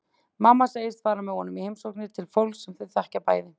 Mamma segist fara með honum í heimsóknir til fólks sem þau þekkja bæði.